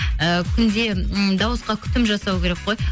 ы күнде м дауысқа күтім жасау керек қой